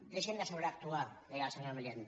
deixin de sobreactuar deia el senyor milián